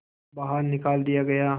बाहर निकाल दिया गया